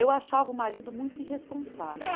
Eu achava o marido muito irresponsável.